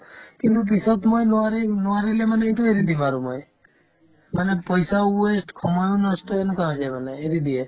কিন্তু পিছত মই নোৱাৰিম নোৱাৰিলে মানে এইটো এৰি দিম আৰু মই মানে পইচাও waste সময়ো নষ্ট এনেকুৱাকে মানে এৰি দিয়ে